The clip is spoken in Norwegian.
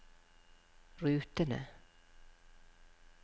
rutene